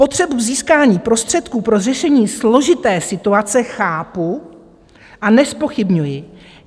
Potřebu získání prostředků pro řešení složité situace chápu a nezpochybňuji.